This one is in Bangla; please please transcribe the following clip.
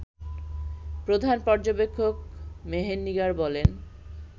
প্রধান পর্যবেক্ষক মেহের নিগার বলেন